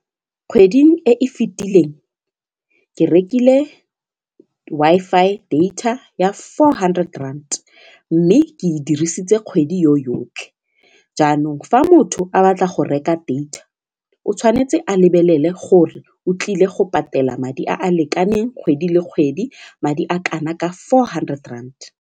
Kgweding e e fitileng ke rekile Wi-Fi data ya four hundred rand mme ke e dirisitse kgwedi yotlhe jaanong fa motho a batla go reka data o tshwanetse a lebelele gore o tlile go patela madi a a lekaneng kgwedi le kgwedi madi a kana ka four hundred rand.